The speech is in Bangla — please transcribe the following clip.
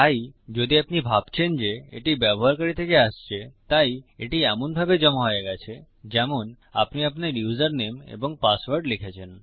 তাই যদি আপনি ভাবছেন যে এটি ব্যবহারকারী থেকে আসছে তাই এটি এমনভাবে জমা হয়ে গেছে যেমন আপনি আপনার ইউসারনেম এবং পাসওয়ার্ড লিখেছেন